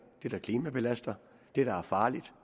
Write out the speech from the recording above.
det der klimabelaster det der er farligt